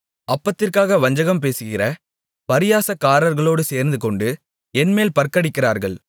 அப்பத்திற்காக வஞ்சகம் பேசுகிற பரியாசக்காரர்களோடு சேர்ந்துகொண்டு என்மேல் பற்கடிக்கிறார்கள்